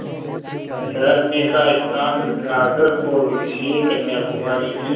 ठहरने का स्थान नागरकोविल से कन्याकुमारी की